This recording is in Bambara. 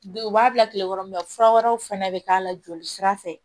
U b'a bila kilekɔrɔ fura wɛrɛw fɛnɛ bɛ k'a la joli sira fɛ